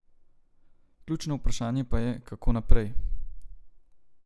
Ključno vprašanje pa je, kako naprej.